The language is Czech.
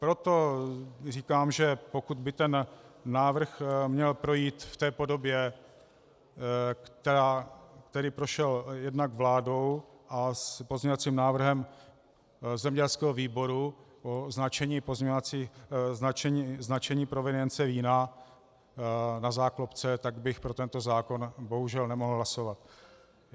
Proto říkám, že pokud by ten návrh měl projít v té podobě, která prošla jednak vládou, a s pozměňovacím návrhem zemědělského výboru o značení provenience vína na záklopce, tak bych pro tento zákon bohužel nemohl hlasovat.